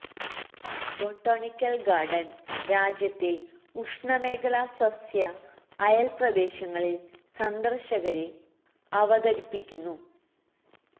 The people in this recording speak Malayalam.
ബൊട്ടാണിക്കൽ ഗാർഡൻ രാജ്യത്തെ ഉഷ്ണമേഖലാ സസ്യ അയൽ പ്രദേശങ്ങളിൽ സന്ദർശകരെ അവതരിപ്പിയ്ക്കുന്നു